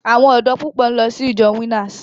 Àwọn ọ̀dọ́ púpọ̀ ń lọ sí ìjọ Winners.